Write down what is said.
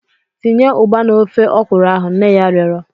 Tinye ugba na ofe okwụrụ ahu! nne ya rịọrọ.